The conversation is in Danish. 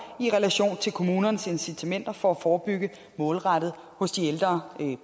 i relation til kommunernes incitamenter for at forebygge målrettet hos de ældre